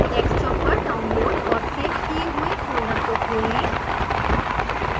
desktop पर download और save लिए हुए फोल्डर को खोलें